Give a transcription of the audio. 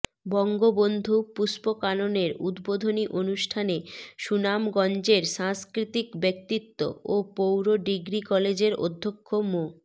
বঙ্গবন্ধু পুষ্পকাননের উদ্বোধনী অনুষ্ঠানে সুনামগঞ্জের সাংস্কৃতিক ব্যক্তিত্ব ও পৌর ডিগ্রি কলেজের অধ্যক্ষ মো